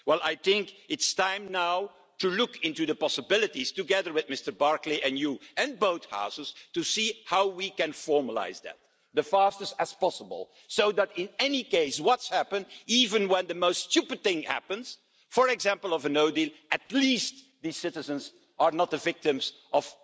Well, I think it's now time to look into the possibilities, together with Mr Barclay, you and both Houses, to see how we can formalise that as fast as possible so that in any case, whatever happens even when the most stupid thing happens, for example a no deal at least these citizens are not the victims